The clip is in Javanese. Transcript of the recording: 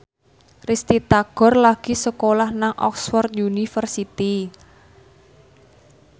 Risty Tagor lagi sekolah nang Oxford university